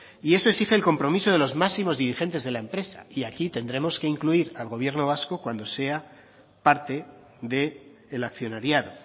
y eso exige el compromiso de los máximos dirigentes de la empresa y aquí tendremos que incluir al gobierno vasco cuando sea parte del accionariado